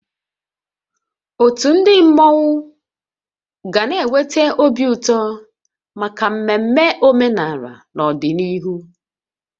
Otu ndị mmọnwu ga na-eweta obi ụtọ maka mmemme omenala n'ọdịnihu